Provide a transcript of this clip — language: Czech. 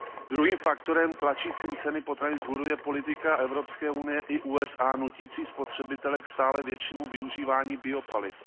Druhým faktorem tlačícím ceny potravin vzhůru je politika Evropské unie i USA nutící spotřebitele k stále většímu využívání biopaliv.